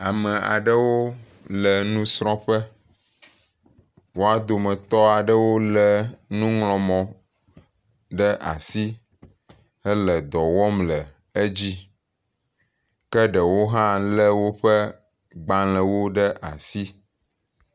ame aɖewo le nusrɔƒe woa dometɔɖewo le nuŋlɔmɔ ɖe asi hele dɔwɔm le edzi ke ɖewo hã le woƒe gbalēwo ɖe asi